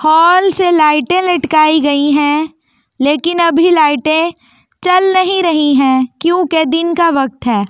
हाल से लाइटें लटकाई गई है लेकिन अभी लाइटें चल नहीं रही है क्योंकि दिन का वक्त है।